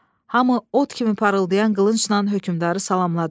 Hamı ot kimi parıldayan qılıncla hökmdarı salamladı.